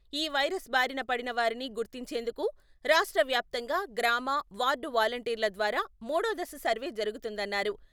ఈ వైరస్ బారినపడిన వారిని గుర్తించేందుకు రాష్ట్ర వ్యాప్తంగా గ్రామ, వార్డు వాలంటీర్ల ద్వారా మూడో దశ సర్వే జరుగుతుందన్నారు.